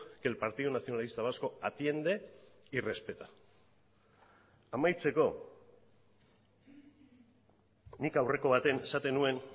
que el partido nacionalista vasco atiende y respeta amaitzeko nik aurreko baten esaten nuen